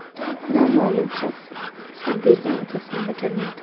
Noma’lum shaxs esa bergan va’dasini bajarmaydi.